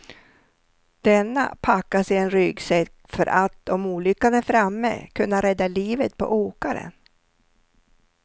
Denna packas i en ryggsäck för att, om olyckan är framme, kunna rädda livet på åkaren.